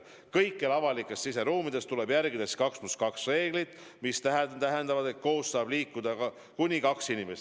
Kõikjal avalikes siseruumides tuleb järgida 2 + 2 reeglit, mis tähendab, et koos tohib liikuda kuni kaks inimest.